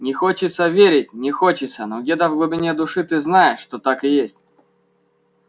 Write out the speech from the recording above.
не хочется верить не хочется но где-то в глубине души ты знаешь что так и есть